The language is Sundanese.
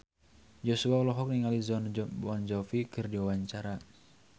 Joshua olohok ningali Jon Bon Jovi keur diwawancara